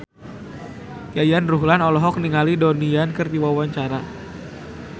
Yayan Ruhlan olohok ningali Donnie Yan keur diwawancara